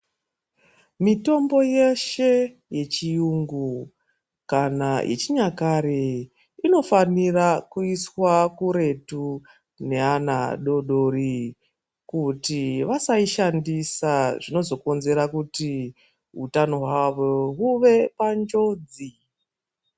Mitombo yeshe yechiyungu kana yechinyakare inofanira kuiswa kuretu neana adoodori kuti vasaishandisa zvinozokonzera kuti utano hwavo huve panjodzi.